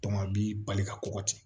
a bi bali ka kɔkɔ di